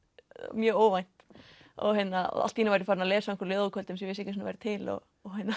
mjög óvænt og allt einu var ég farin að lesa á ljóðakvöldum sem ég vissi ekki að væru til og